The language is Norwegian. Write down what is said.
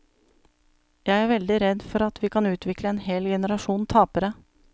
Jeg er veldig redd for at vi kan utvikle en hel generasjon tapere.